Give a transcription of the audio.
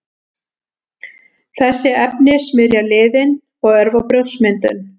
Þessi efni smyrja liðinn og örva brjóskmyndun.